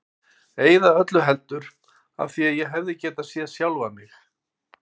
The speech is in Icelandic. Eða öllu heldur: af því ég hefði getað séð sjálfan mig.